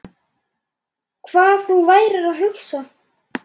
Hvað þú værir að hugsa.